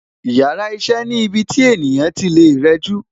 Yàrá iṣẹ́ ni ibi tí ènìyàn tí lè rẹjú